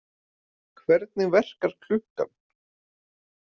Hvernig verkar klukkan?